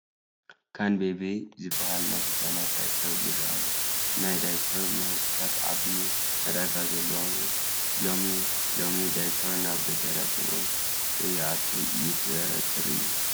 ካንቤቢ ዝበሃል ናይ ህፃናት ዳይፐር ይርአ ኣሎ፡፡ ናይ ዳይፐር ምህርትታት ዓብዪ ዕዳጋ ዘለዎም እዮም፡፡ ሎሚ ሎሚ ዳይፐር ናብ ገጠራት እውን ከይኣቱ የጠራጥር እዩ፡፡